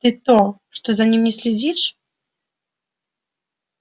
ты-то что за ним не следишь